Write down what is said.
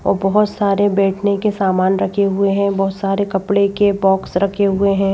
और बहुत सारे बैठने के सामान रखे हुए हैं बहुत सारे कपड़े के बॉक्स रखे हुए हैं।